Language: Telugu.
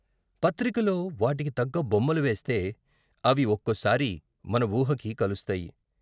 పత్రికలో వాటికి తగ్గ బొమ్మలు వేస్తే అవి ఒక్కోసారి మన ఊహకి కలుస్తాయి.